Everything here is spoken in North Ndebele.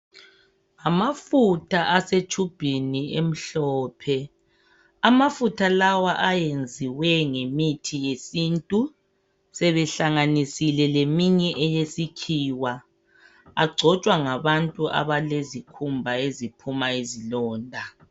Amafutha lawa asetshubhini emhlophe amafutha lawa ayenziwe ngemithi yesintu ihlanganisiwe leye sikhiwa ,agcotshwa ngabantu abalezikhumba eziphuma izilonda.